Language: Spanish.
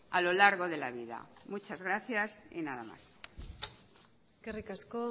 a lo largo de la vida muchas gracias y nada más eskerrik asko